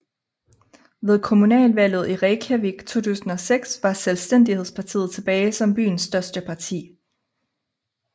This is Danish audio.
Ved kommunalvalget i Reykjavík 2006 var Selvstændighedspartiet tilbage som byens største parti